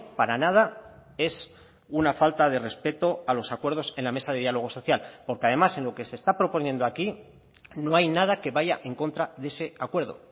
para nada es una falta de respeto a los acuerdos en la mesa de diálogo social porque además en lo que se está proponiendo aquí no hay nada que vaya en contra de ese acuerdo